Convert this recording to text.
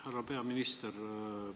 Härra peaminister!